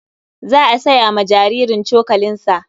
Za a saya wa jaririn cokalinsa.